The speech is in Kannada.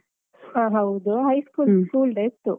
ಹ ಹೌದು high school, school day ಇತ್ತು.